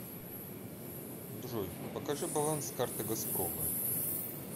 джой покажи баланс карты газпрома